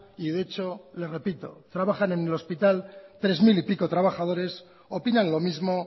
y de hecho le repito trabajan en el hospital tres mil y pico trabajadores opinan lo mismo